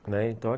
Né, então